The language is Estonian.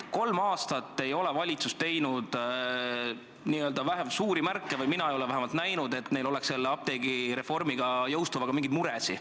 Kolm aastat ei ole valitsus märku andnud või vähemalt mina ei ole neid märke näinud, et neil oleks apteegireformi jõustumisega mingeid muresid.